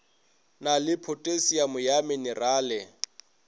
na le phothasiamo ya menerale